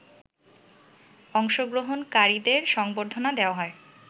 অংশগ্রহণকারীদের সংবর্ধনা দেয়া হয়